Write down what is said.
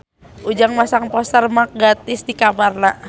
Ujang masang poster Mark Gatiss di kamarna